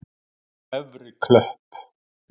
Efri Klöpp